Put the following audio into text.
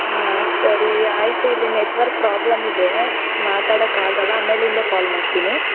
ಆ ಸರಿ ಆಯ್ತು ಇಲ್ಲಿ network problem ಇದೆ ಮಾತಾಡಕ್ ಆಗಲ್ಲ ಆಮೇಲಿಂದ call ಮಾಡ್ತೀನಿ.